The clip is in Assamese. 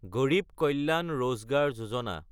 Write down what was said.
গড়ীব কল্যাণ ৰজগাৰ যোজনা